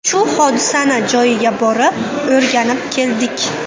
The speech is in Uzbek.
Shu hodisani joyiga borib, o‘rganib keldik.